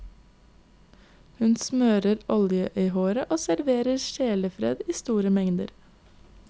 Hun smører olje i håret og serverer sjelefred i store mengder.